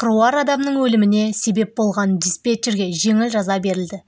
қыруар адамның өліміне себеп болған диспетчерге жеңіл жаза берілді